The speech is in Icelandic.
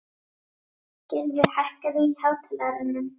Gylfi, hækkaðu í hátalaranum.